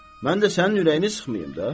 mən də sənin ürəyini sıxmayım da.